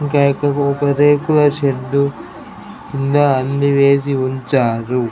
ఒక రేకుల షెడ్ కింద అన్ని వేసి ఉన్నచారు.